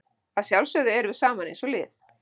Að sjálfsögðu erum við saman eins og lið.